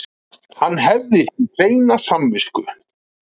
Hann hefði því hreina samvisku